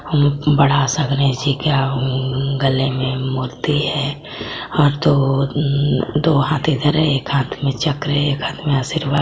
बड़ा सा गणेशजी के अ हं गले में मोती है। ओर दो अं दो हाथ इधर है। एक हाथ में चक्र है। एक हाथ में आशीर्वाद--